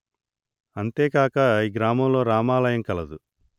అంతే కాక ఈ గ్రామంలో రామాలయం కలదు